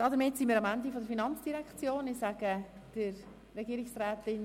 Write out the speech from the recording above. Damit sind wir am Ende der Traktanden der FIN angelangt.